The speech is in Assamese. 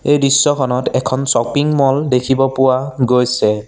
এই দৃশ্যখনত এখন শ্বপিং ম'ল দেখিব পোৱা গৈছে।